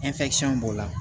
b'o la